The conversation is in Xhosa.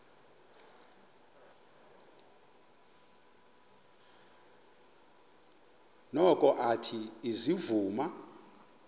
noko athe ezivuma